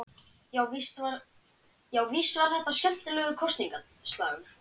Já, víst var þetta skemmtilegur kosningaslagur.